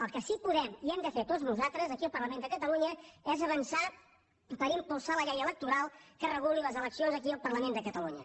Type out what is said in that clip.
el que sí podem i hem de fer tots nosaltres aquí al parlament de catalunya és avançar per impulsar la llei electoral que reguli les eleccions aquí al parlament de catalunya